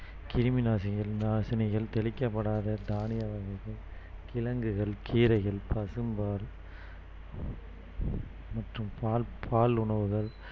கிருமிநாசினிகள்~நாசினிகள் தெளிக்கப்படாத தானிய வகைகள் கிழங்குகள் கீரைகள் பசும்பால் மற்றும் பால் பால் உணவுகள்